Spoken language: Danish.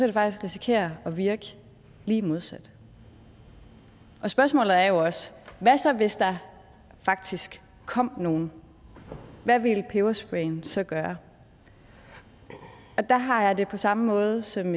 det faktisk risikere at virke lige modsat spørgsmålet er jo også hvad så hvis der faktisk kom nogen hvad ville pebersprayen så gøre der har jeg det på samme måde som